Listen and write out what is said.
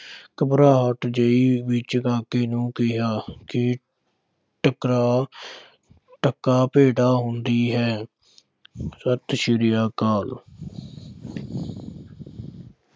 ਘਬਰਾਹਠ ਜਿਹੀ ਵਿੱਚ ਕਾਕੇ ਨੂੰ ਕਿਹਾ ਕਿ ਟਕਾ ਟਕਾ ਭੈੜਾ ਹੁੰਦੀ ਹੈ ਸਤਿ ਸ੍ਰੀ ਅਕਾਲ।